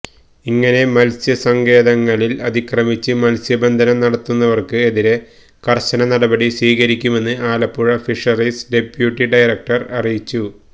ഇങ്ങനെ മത്സ്യസങ്കേതങ്ങളില് അതിക്രമിച്ച് മത്സ്യബന്ധനം നടത്തുന്നവര്ക്ക് എതിരെ കര്ശന നടപടി സ്വീകരിക്കുമെന്ന് ആലപ്പുഴ ഫിഷറീസ് ഡെപ്യൂട്ടി ഡയക്ടര് അറിയിച്ചു